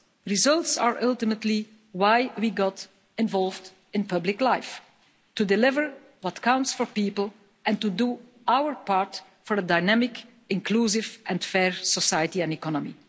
Results are ultimately why we got involved in public life to deliver what counts for people and to do our part for a dynamic, inclusive and fair society and economy.